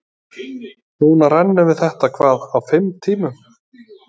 Núna rennum við þetta hvað, á fimm tímum?